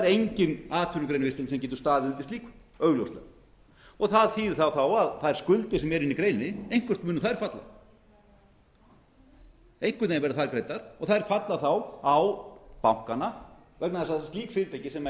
engin atvinnugrein sem getur staðið undir slíku augljóslega það þýðir þá að þær skuldir sem eru inni í greininni eitthvert munu þær falla einhvern veginn verða þær greiddar og þær falla þá á bankana vegna þess að slík fyrirtæki sem